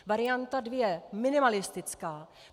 Varianta dvě - minimalistická.